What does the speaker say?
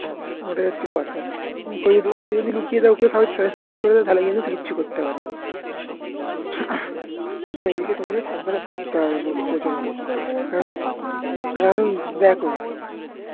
ওটাই হচ্ছে কথা ওকে যদি লুকিয়ে দাও side করে দাও তাহলে কিন্তু কিচ্ছু করতে পারবেনা আর এদিকে তোমাকে সাবধানে থাকতে হবে প্রচন্ড কারণ কারণ দেখো